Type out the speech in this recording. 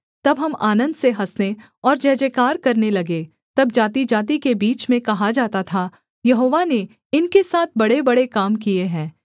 तब हम आनन्द से हँसने और जयजयकार करने लगे तब जातिजाति के बीच में कहा जाता था यहोवा ने इनके साथ बड़ेबड़े काम किए हैं